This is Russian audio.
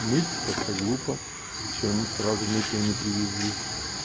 мыть как-то глупо что они сразу мытые не привезли